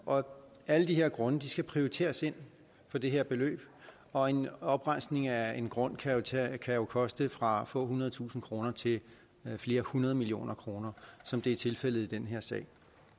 og alle de her grunde skal prioriteres inden for det her beløb og en oprensning af en grund kan jo koste fra få hundrede tusinde kroner til flere hundrede millioner kroner som det er tilfældet i den her sag